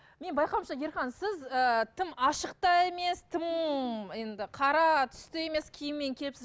мен байқауымша ерхан сіз ы тым ашық та емес тым енді қара түсті емес киіммен келіпсіз